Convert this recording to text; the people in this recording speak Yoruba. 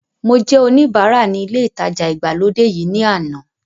Mo jẹ́ oníbara ní ilé ìtajà ìgbàlódé yìí ní àná